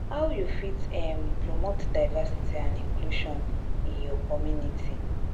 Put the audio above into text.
how you fit um promote diversity and inclusion in your community?